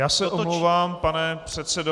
Já se omlouvám, pane předsedo.